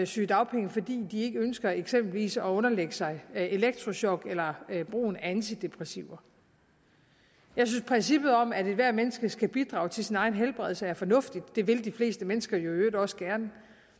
sygedagpenge fordi de ikke ønsker eksempelvis at underlægge sig elektrochok eller brugen af antidepressiva jeg synes princippet om at ethvert menneske skal bidrage til sin egen helbredelse er fornuftigt det vil de fleste mennesker jo i øvrigt også gerne